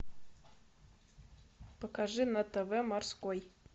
покажи на тв морской